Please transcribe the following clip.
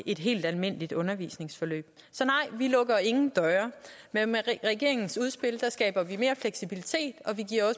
et helt almindeligt undervisningsforløb så nej vi lukker ingen døre med regeringens udspil skaber vi mere fleksibilitet og vi